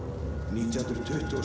nítján hundruð tuttugu og